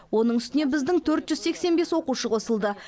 оның үстіне біздің төрт жүз сексен бес оқушы қосылды